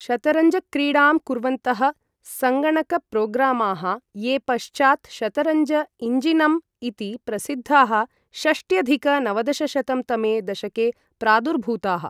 शतरंजक्रीडां कुर्वन्तः सङ्गणकप्रोग्रामाः, ये पश्चात् शतरंज इञ्जिनम् इति प्रसिद्धाः, षष्ट्यधिक नवदशशतं तमे दशके प्रादुर्भूताः ।